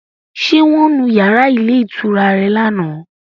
Ṣé wọ́n nu yàrá ilé ìtura rẹ lánàá?